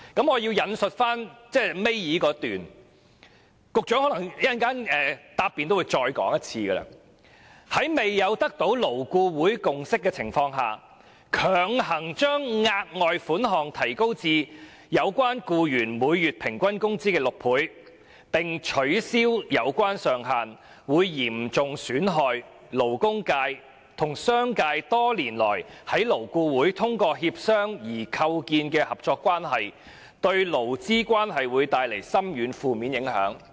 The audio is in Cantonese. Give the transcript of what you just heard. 我要引述新聞公報倒數第二段，也許局長稍後總結時，也會再說一次："在未有得到勞顧會共識的情況下，強行把額外款項提高至有關僱員每月平均工資的6倍，並取消有關上限，會嚴重損害勞工界和商界多年來在勞顧會通過協商而構建的合作關係，對勞資關係會帶來深遠及負面的影響"。